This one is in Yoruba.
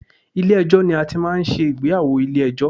Ilé ẹjọ́ ni a ti ń máa ń ṣe ìgbéyàwó ilé ẹjọ́.